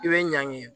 I bɛ ɲangi